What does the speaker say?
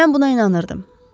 Mən buna inanırdım.